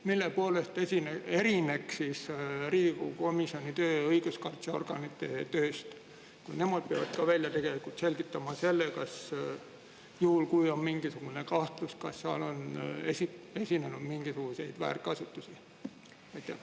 Mille poolest erineks Riigikogu komisjoni töö õiguskaitseorganite tööst, sest ka nemad peavad välja selgitama selle, juhul kui on mingisugune kahtlus, kas seal on esinenud mingisuguseid väärkasutusi?